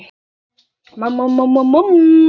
Þú varst minn besti vinur.